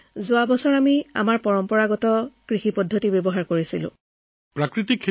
হয় আমি যোৱা বছৰ আমাৰ পৰম্পৰাগত খেতি ব্যৱস্থা অনুসৰি সকলো কাম কৰিলোঁ ছাৰ